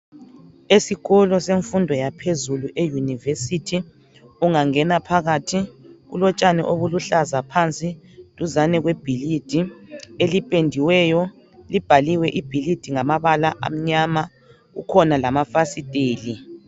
Esikolo semfundo yaphezulu eyunivesithi ungangena Phakathi kulotshani obuluhlaza duzane kwebhilidi elipendiweyo libhaliwe ibhilidi ngamabala amnyama kukhona lamafasiteli